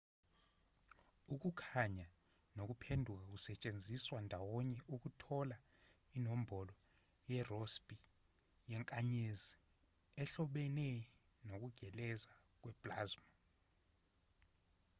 ukukhanya nokuphenduka kusetshenziswa ndawonye ukuthola inombolo yerossby yenkanyezi ehlobene nokugeleza kwe-plasma